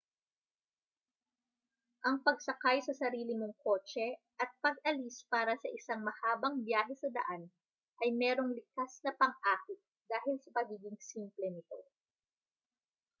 ang pagsakay sa sarili mong kotse at pag-alis para sa isang mahabang biyahe sa daan ay mayroong likas na pang-akit dahil sa pagiging simple nito